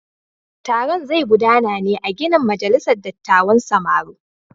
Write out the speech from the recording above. Taron zai gudana ne a ginin majalisar dattawan samaru.